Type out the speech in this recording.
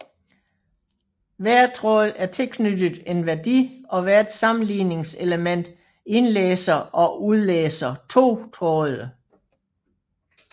Hver tråd er tilknyttet en værdi og hvert sammenligningselement indlæser og udlæser to tråde